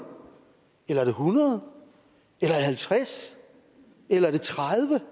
eller er det hundrede eller halvtreds eller er det tredive